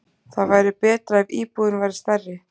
Það væri betra ef íbúðin væri stærri.